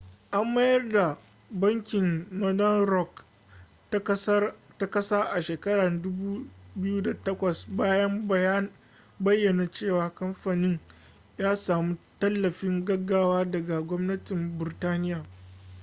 an mayar da bankin northern rock ta kasa a shekara 2008 bayan bayyana cewa kamfanin ya samu tallafin gaggawa daga gwamnatin burtaniya